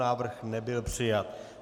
Návrh nebyl přijat.